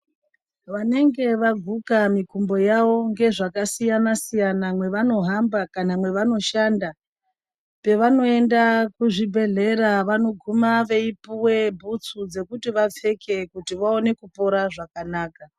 Vanenge vaguka mikumbo yawo ngezvakasiyana siyana mwevanohamba kana mwevanoshanda pevanoenda kuzvibhedhlera vanoguma veipuwa bhutsu dzekuti vapfeke kuti vaone kupora zvakanaka.